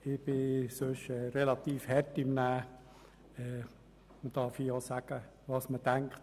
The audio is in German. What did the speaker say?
Ich bin relativ hart im Nehmen, und man soll hier auch sagen dürfen, was man denkt.